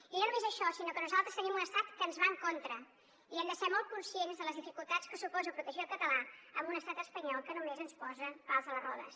i no només això sinó que nosaltres tenim un estat que ens va en contra i hem de ser molt conscients de les dificultats que suposa protegir el català amb un estat espanyol que només ens posa pals a les rodes